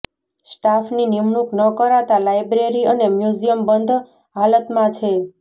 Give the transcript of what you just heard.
સ્ટાફની નિમણૂંક ન કરાતા લાયબ્રેરી અને મ્યુઝિયમ બંધ હાલતમાં છે